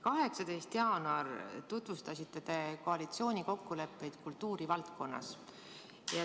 18. jaanuaril tutvustasite te koalitsioonikokkuleppeid kultuurivaldkonnas.